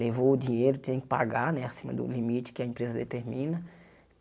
Levou o dinheiro, tinha que pagar né acima do limite que a empresa determina.